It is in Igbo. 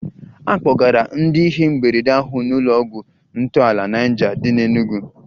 A kpọgara ndị ihe mberede ahụ n'ụlọ ọgwụ ntọala Niger dị n'Enugwu